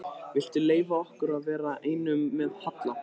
Viltu leyfa okkur að vera einum með Halla?